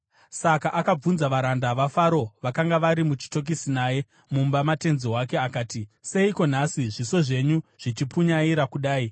Saka akabvunza varanda vaFaro vakanga vari muchitokisi naye mumba matenzi wake akati, “Seiko nhasi zviso zvenyu zvichipunyaira kudai?”